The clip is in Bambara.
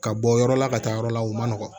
Ka bɔ yɔrɔ la ka taa yɔrɔ la u man nɔgɔn